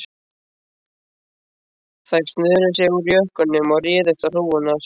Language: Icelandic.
Þeir snöruðu sér úr jökkunum og réðust á hrúgurnar.